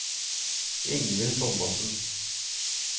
Ingvild Thomassen